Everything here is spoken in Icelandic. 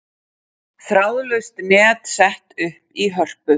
Þráðlaust net sett upp í Hörpu